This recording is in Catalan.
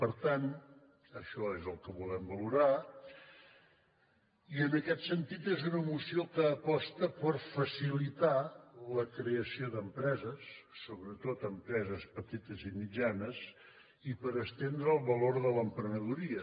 per tant això és el que volem valorar i en aquest sentit és una moció que aposta per facilitar la creació d’empreses sobretot empreses petites i mitjanes i per estendre el valor de l’emprenedoria